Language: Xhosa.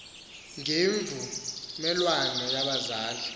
ngemvu melwano yabazali